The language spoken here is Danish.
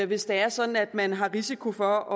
hvis det er sådan at man har risiko for